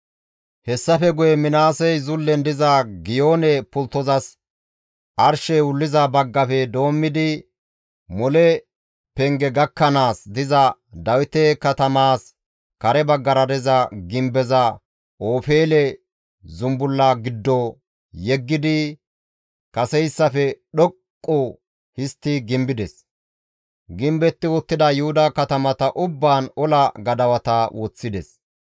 Hessafe guye Minaasey zullen diza Giyoone Pulttozas arshey wulliza baggafe doommidi mole penge gakkanaas diza Dawite katamaas kare baggara diza gimbeza Ofeele zumbulla giddo yeggidi kaseyssafe dhoqqu histti gimbides; gimbetti uttida Yuhuda katamata ubbaan ola gadawata woththides.